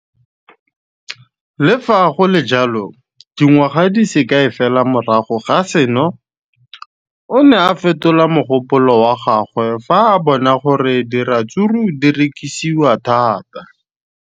Le fa go le jalo, dingwaga di se kae fela morago ga seno, o ne a fetola mogopolo wa gagwe fa a bona gore diratsuru di rekisiwa thata.